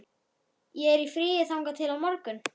Ég er í fríi þangað til á morgun.